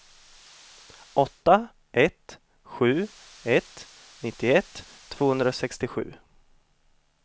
åtta ett sju ett nittioett tvåhundrasextiosju